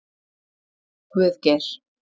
Guðgeir